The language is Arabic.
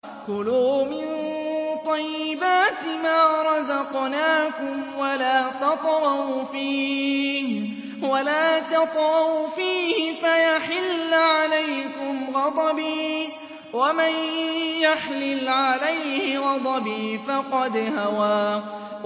كُلُوا مِن طَيِّبَاتِ مَا رَزَقْنَاكُمْ وَلَا تَطْغَوْا فِيهِ فَيَحِلَّ عَلَيْكُمْ غَضَبِي ۖ وَمَن يَحْلِلْ عَلَيْهِ غَضَبِي فَقَدْ هَوَىٰ